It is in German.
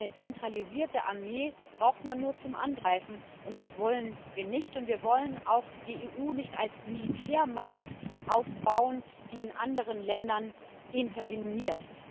Eine zentralisierte Armee braucht man nur zum Angreifen, und das wollen wir nicht, und wir wollen auch die EU nicht als Militärmacht aufbauen, die in anderen Ländern interveniert.